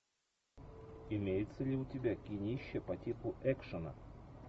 имеется ли у тебя кинище по типу экшена